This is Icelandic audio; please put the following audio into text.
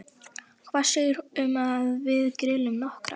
Hvað segirðu um að við grillum nokkrar?